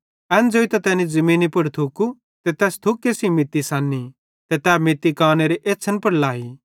एन ज़ोइतां तैनी ज़मीनी पुड़ थुकू ते तैस थुके सेइं मित्ती सन्नी ते तै मित्ती कानेरे एछ़्छ़न पुड़ लाई